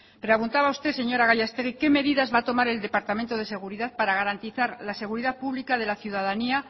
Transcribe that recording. preguntaba usted señora gallastegui qué medidas va a tomar el departamento de seguridad para garantizar la seguridad pública de la ciudadanía